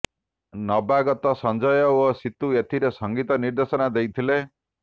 ନବାଗତା ସଂଜୟ ଓ ସିତୁ ଏଥିରେ ସଙ୍ଗୀତ ନିର୍ଦ୍ଦେଶନା ଦେଇଥିଲେ